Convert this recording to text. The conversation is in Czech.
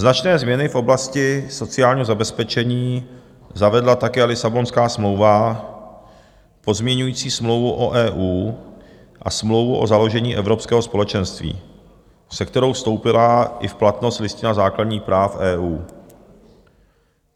Značné změny v oblasti sociálního zabezpečení zavedla také Lisabonská smlouva, pozměňující Smlouvu o EU a Smlouvu o založení Evropského společenství, se kterou vstoupila i v platnost Listina základních práv EU.